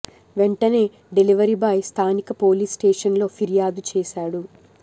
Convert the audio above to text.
వెంటనే delivery boy స్థానిక police స్టేషన్లో ఫిర్యాదు చేశాడు